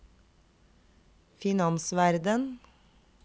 finansverden